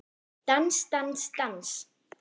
Dans, dans, dans.